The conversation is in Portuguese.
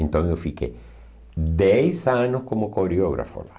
Então eu fiquei dez anos como coreógrafo lá.